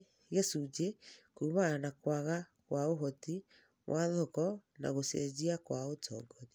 Harĩ gĩcunjĩ kũmana na kũaga kwa ũhoti wa thoko na gũcenjia kwa ũtongoria.